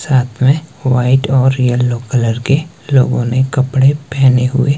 साथ में व्हाइट और येलो कलर के लोगों ने कपड़े पहने हुए--